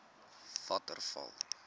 waterval